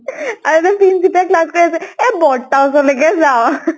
আৰি পিন্চিতা যদি class কৰি আছে, এই বৰ্তাৰ ওচৰলৈ যাওঁ